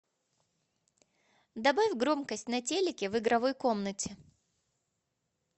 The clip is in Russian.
добавь громкость на телике в игровой комнате